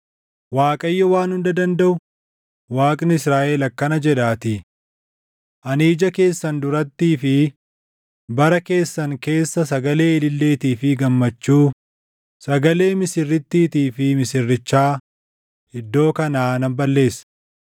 Waaqayyo Waan Hunda Dandaʼu, Waaqni Israaʼel akkana jedhaatii: Ani ija keessan durattii fi bara keessan keessa sagalee ililleetii fi gammachuu, sagalee misirrittiitii fi misirrichaa iddoo kanaa nan balleessa.